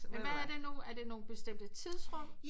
Ja hvad er det nu er det nogle bestemte tidsrum